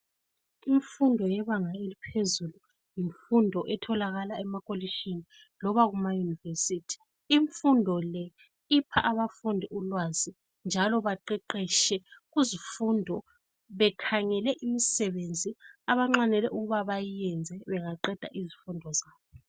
Imfundo yebanga eliphezulu yimfundo etholakala emakolishini loba kumayunivesithi. Imfundo le ipha abafundi ulwazi njalo baqeqeshe kuzifundo bekhangele imisebenzi abanxwanele ukuba bayiyenze bengaqeda izifundo zabo.